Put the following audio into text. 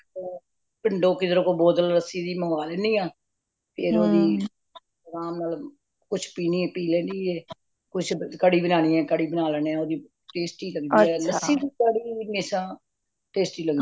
ਅ ਪਿੰਡੋ ਕਿਧਰੋਂ ਕੋ bottle ਲੱਸੀ ਦੀ ਮੰਗਲੇਨੀਆਂ ਫੇਰ ਓਹਦੀ ਅਰਾਮ ਨਾਲ ਕੁਛ ਪੀਣੀ ਪੀ ਕੁਛ ਕੜੀ ਬਨਾਨੀ ਹੈ ਤਾ ਕੜੀ ਬਣਾ ਲੈਂਦੇ ਓਹਦੀ tasty ਲੱਗਦੀ ਹੈ। ਲੱਸੀ ਦੀ ਕੜੀ ਹਮੇਸ਼ਾ tastyਲੱਗਦੀ ਹੈ